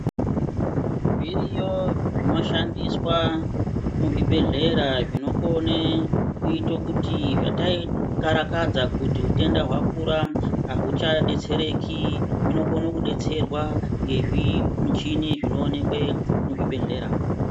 Zviriyo zvinoshandiswa muzvibhedhlera zvinokone kuito kuti zvataikararakadza kuti utenda hwakura ahuchadetsrereki hunokone kudetsererwa ngezvimuchini zvinoonekwe muzvibhedhlera.